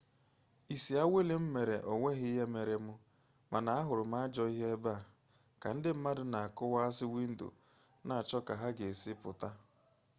isi awele m mere onweghi ihe mere m mana ahuru m ajoo ihe ebe a ka ndi mmadu n'akuwasi windo n'acho ka ha ga esi puta